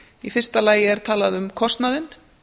í fyrsta lagi er talað um kostnaðinn